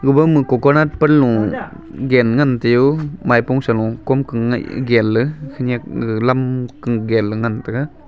woumu coconut panlo genley ngan teo paipo salo komkang ngaih genley khenyak ga lam genley ngan taiga.